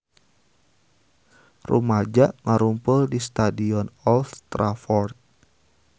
Rumaja ngarumpul di Stadion Old Trafford